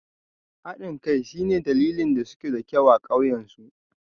Haɗin kai shine dalilin da suke da kyau a ƙauyen su